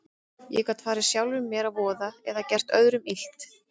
Ég gat farið sjálfum mér að voða eða gert öðrum illt.